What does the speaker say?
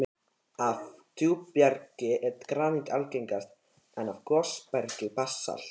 Af djúpbergi er granít algengast, en af gosbergi basalt.